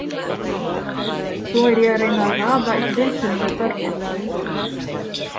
Svo er ég að reyna að raða upp viðtölum við börnin.